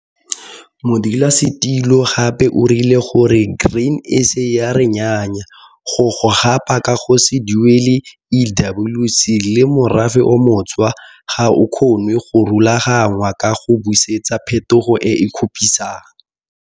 Modulasetilo gape o rile gore Grain SA ya re NNYAYA go go gapa ka go se duele EWC le morafe o montshwa ga o kgonwe go rualagangwa ka go busetsa pheto e e kgopisang.